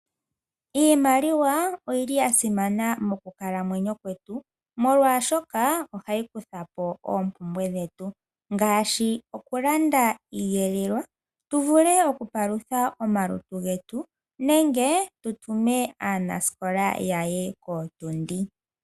Iimaliwa oyili yasimana mokukalamyeno kwetu molwashoka ohayi kuthapo oompumbwe dhetu ngaashi oku landa iiyelelwa tuvule okupalutha omalutu getu nenge tu tume aanasikola ya ye kootundi.